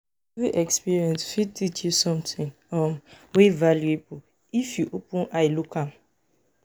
evri experience fit teach somtin um wey valuable if yu open eye look am